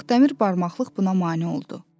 Ancaq dəmir barmaqlıq buna mane oldu.